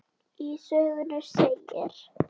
Í sögunni segir